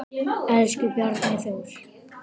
Elsku Bjarni Þór.